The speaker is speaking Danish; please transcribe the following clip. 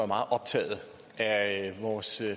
meget optaget af vores